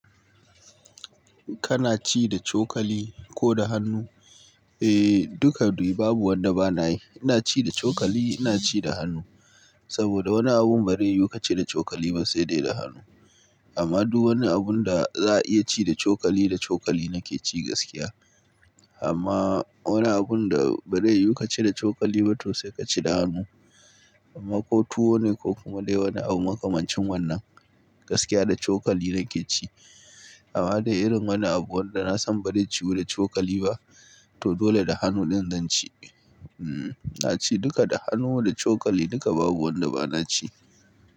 Kana ci da cokali ko da hannu? Eh, duka biyu babu wanda ba na yi. Ina ci da cokali, ina ci da hannu. Saboda wani abun ba zai yiwu ka ci da cokali ba sai dai da hannu. Amma duk wani abun da za a iya ci da cokali, da cokali nake ci gaskiya. Amma wani abun da ba zai yiwu ka ci da cokali ba to sai ka ci da hannu. Amma ko tuwo ne ko kuma dai wani abu makamancin wannan, gaskiya da cokali nake ci. Amma da irin wani abu, wanda na san ba zai ciwu da cokali ba, toh dole da hannun ɗin zan ci. Hmm, na ci duka da hannu da cokali duka babu wanda ba na ci.